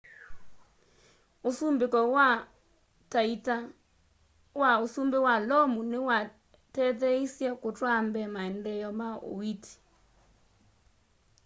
usumbiko wa ta ita wa usumbi wa lomu niwatetheeisye kutwaa mbee maendeeo ma uiiti